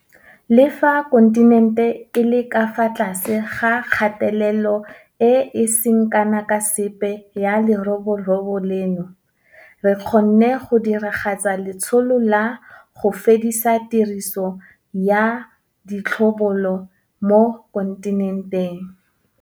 Le fa kontinente e le ka fa tlase ga kgatelelo e e seng kana ka sepe ya leroborobo leno, re kgonne go diragatsa letsholo la 'go fedisa tiriso ya ditlhobolo' mo kontinenteng.